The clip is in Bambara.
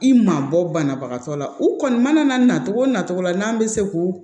I ma bɔ banabagatɔ la u kɔni mana na na cogo nacogo la n'an bɛ se k'o